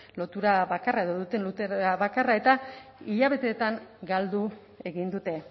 lotura bakarra edo duten lotura bakarra eta hilabeteetan galdu egin dute